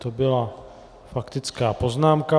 To byla faktická poznámka.